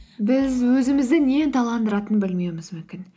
біз өзімізді не ынталандыратынын білмеуіміз мүмкін